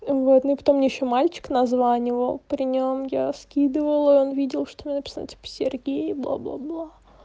вот потом ещё мальчик названивал при нем я скидывала он видел что написано сергей бла-бла-бла